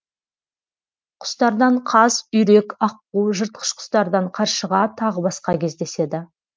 құстардан қаз үйрек аққу жыртқыш құстардан қаршыға тағы басқа кездеседі